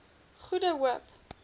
goede hoop